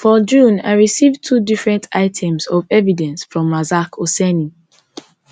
for june i receive two different items of evidence from rasak oseni